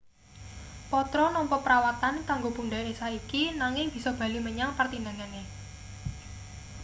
potro nampa perawatan kanggo pundhake saiki nanging bisa bali menyang pertandhingane